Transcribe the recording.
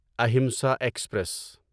Ahimsa express